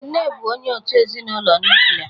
Nne bụ onye òtù ezinụlọ nuklia.